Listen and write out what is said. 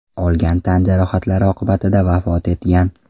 olgan tan jarohatlari oqibatida vafot etgan.